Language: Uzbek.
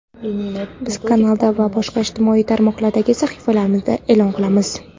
Biz kanalda va boshqa ijtimoiy tarmoqlardagi sahifalarimizda eʼlon qilamiz.